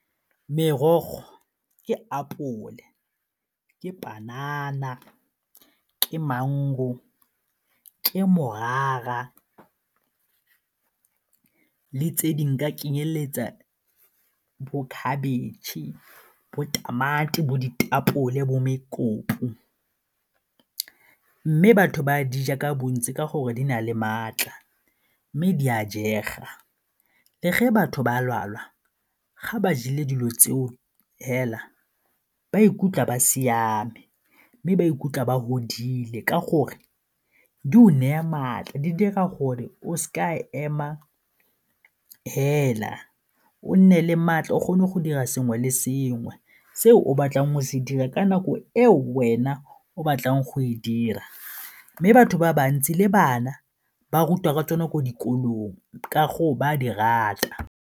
Merogo ke apole, ke panana, ke maungo, ke morara le tse dingwe nka kenyeletsa bo khabetšhe, bo tamati, bo ditapole, bo mme batho ba di ja ka bontsi ka gore di na le maatla mme di a jega. Le ge batho ba lwala, ga ba jele dilo tse o fela ba ikutlwa ba siame mme ba ikutlwa ba fodile ka gore di o naya maatla di dira gore o seka e ema fela o nne le maatla o kgone go dira sengwe le sengwe se o batlang go se dira ka nako e wena o batlang go e dira mme batho ba bantsi le bana ba rutwa ka tsone ko dikolong ka gore ba a di rata.